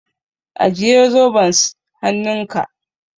Ajiye zoben s hannunka.